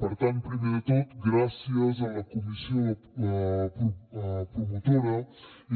per tant primer de tot gràcies a la comissió promotora